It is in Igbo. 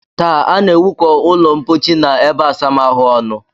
Taa, a na-ewukọ ụlọmpochi na ebeásamaahụ ọnụ